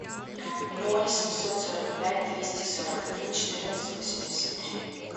ноль семьсот сорок пять двести сорок один четырнадцать восемьдесят три